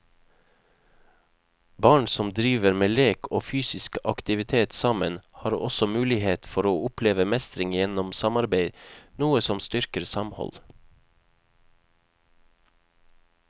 Barn som driver med lek og fysisk aktivitet sammen har også mulighet for å oppleve mestring gjennom samarbeid, noe som styrker samhold.